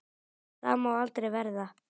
Það má aldrei verða.